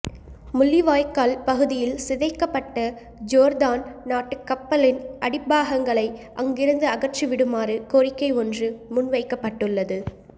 முள்ளிவாய்க்கால் பகுதியில் சிதைக்கப்பட்ட ஜோர்தான் நாட்டுக் கப்பலின் அடிப்பாகங்களை அங்கிருந்து அகற்றிவிடுமாறு கோரிக்கை ஒன்று முன்வைக்கப்பட்டுள்ளது